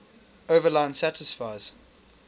overline satisfies